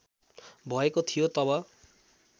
भएको थियो तब